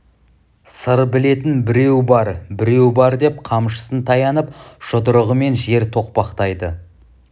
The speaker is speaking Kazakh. сыр білетін біреу бар біреу бар деп қамшысын таянып жұдырығымен жер тоқпақтайды